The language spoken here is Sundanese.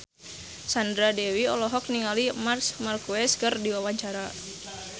Sandra Dewi olohok ningali Marc Marquez keur diwawancara